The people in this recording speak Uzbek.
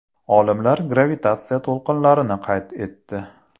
Olimlar gravitatsiya to‘lqinlarini qayd etdi.